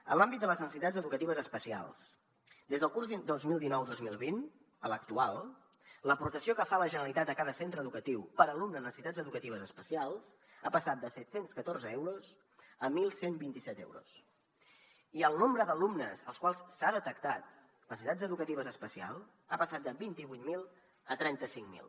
en l’àmbit de les necessitats educatives especials des del curs dos mil dinou dos mil vint a l’actual l’aportació que fa la generalitat a cada centre educatiu per alumne amb necessitats educatives especials ha passat de set cents i catorze euros a onze vint set euros i el nombre d’alumnes als quals s’ha detectat necessitats educatives especials ha passat de vint vuit mil a trenta cinc mil